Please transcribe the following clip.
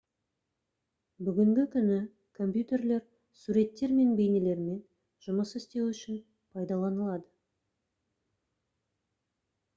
бүгінгі күні компьютерлер суреттер мен бейнелермен жұмыс істеу үшін пайдаланылады